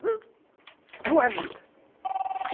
Não é vida.